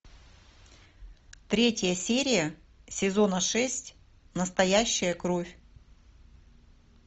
третья серия сезона шесть настоящая кровь